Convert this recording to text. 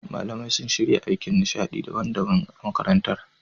Malamai sun shirya ayyukan nishaɗi daban-daban a makarantar.